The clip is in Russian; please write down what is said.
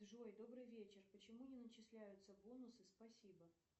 джой добрый вечер почему не начисляются бонусы спасибо